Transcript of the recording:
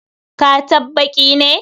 Ka tabbt baki ne!